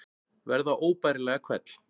Verða óbærilega hvell.